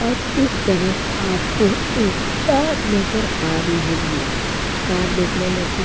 और उस तरफ आपको एक कार नजर आ रही होगी। कार देखने में तो --